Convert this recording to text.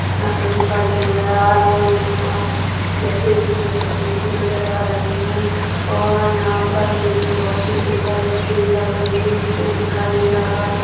यहाँ पर मुझे बल्ब नजर आ रहे है और बैठे हुए है कुर्सी नज़र आ रही है और यहाँ पर मुझे बहुत सुन्दर स्टेज लग रही है एक पेड़ दिखाई दे रहा है।